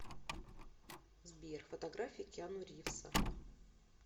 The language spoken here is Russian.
сбер фотография киану ривза